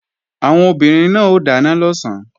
Àwọn obìnrin náà ó dáná lọ̀sán